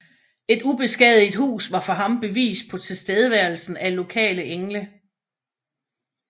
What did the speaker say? Et ubeskadiget hus var for ham bevis på tilstedeværelsen af lokale engle